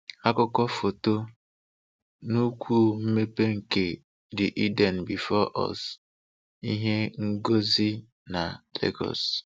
Akụkọ Foto: nnukwu mmepe nke "The Eden Before Us" ihe ngosi na Legọọs